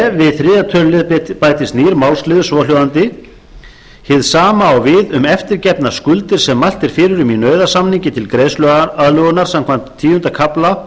b við þriðja tölulið bætist nýr málsliður svohljóðandi hið sama á við um eftirgefnar skuldir sem mælt er fyrir um í nauðasamningi til greiðsluaðlögunar samkvæmt tíunda kafla